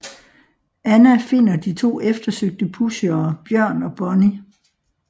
Anna finder de to eftersøgte pushere Bjørn og Bonnie